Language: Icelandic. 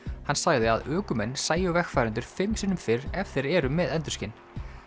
hann sagði að ökumenn sæju vegfarendur fimm sinnum fyrr ef þeir eru með endurskin